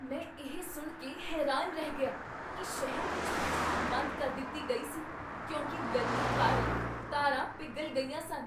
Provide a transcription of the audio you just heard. ਮੈਂ ਇਹ ਸੁਣ ਕੇ ਹੈਰਾਨ ਰਹਿ ਗਿਆ ਕੀ ਸ਼ਹਿਰ ਵਿੱਚ ਬਿਜਲੀ ਬੰਦ ਕਰ ਦਿੱਤੀ ਗਈ ਸੀ ਕਿਉਂਕਿ ਗਰਮੀ ਕਾਰਨ ਤਾਰਾਂ ਪਿਘਲ ਗਈਆਂ ਸਨ!